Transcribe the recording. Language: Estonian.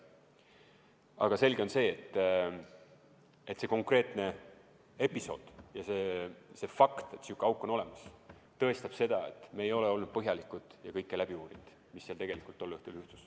Aga selge on, et see konkreetne episood ja see fakt, et selline auk on olemas, tõestab seda, et me ei ole olnud põhjalikud ja kõike läbi uurinud, mis tol õhtul juhtus.